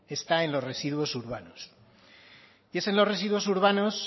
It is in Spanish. está en los residuos urbanos es en los residuos urbanos